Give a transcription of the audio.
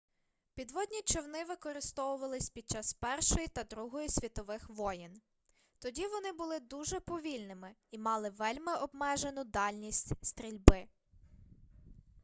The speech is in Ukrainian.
підводні човни використовувались під час першої та другої світових воєн тоді вони були дуже повільними і мали вельми обмежену дальність стрільби